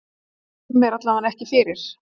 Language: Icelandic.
Þetta skemmir allavega ekki fyrir.